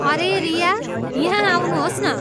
अरे रिया, यहाँ आउनुहोस् न।